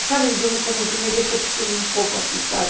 E, sabe, eu como que me decepcionei um pouco assim, sabe?